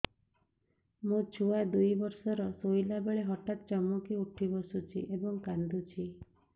ମୋ ଛୁଆ ଦୁଇ ବର୍ଷର ଶୋଇଲା ବେଳେ ହଠାତ୍ ଚମକି ଉଠି ବସୁଛି ଏବଂ କାଂଦୁଛି